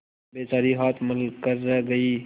बेचारी हाथ मल कर रह गयी